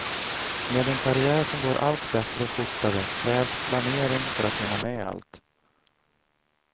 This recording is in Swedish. Med en karriär som går allt bättre och fortare, krävs planering för hinna med allt.